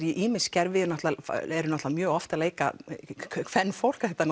í ýmis gervi þeir eru mjög oft að leika kvenfólk þetta